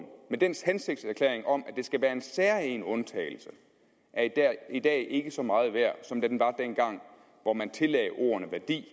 med dens hensigtserklæring om at det skal være en særegen undtagelse er i dag ikke så meget værd som den var dengang hvor man tillagde ordene værdi